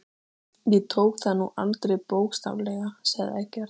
Ég tók það nú aldrei bókstaflega, sagði Eggert.